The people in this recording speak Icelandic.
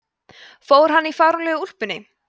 fór hann í fáránlegu úlpunni